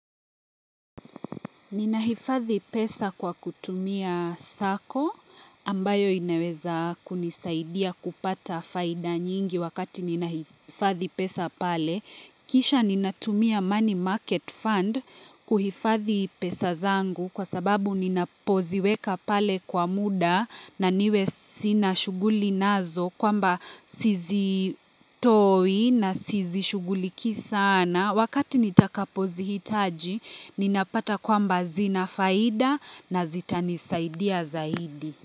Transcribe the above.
Ninahifadhi pesa kwa kutumia sako ambayo inaweza kunisaidia kupata faida nyingi wakati ninahifadhi pesa pale. Kisha ninatumia money market fund kuhifadhi pesa zangu kwa sababu ninapoziweka pale kwa muda na niwe sina shughuli nazo kwamba sizitoi na sizishuguliki sana. Wakati nitakapozihitaji, ninapata kwamba zina faida na zitanisaidia zaidi.